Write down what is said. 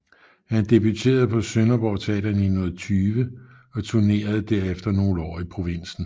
Han debuterede på Sønderborg Teater i 1920 og turnerede derefter nogle år i provinsen